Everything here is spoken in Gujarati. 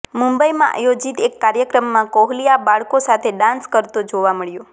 મુંબઈમાં આયોજિત એક કાર્યક્રમમાં કોહલી આ બાળકો સાથે ડાંસ કરતો જોવા મળ્યો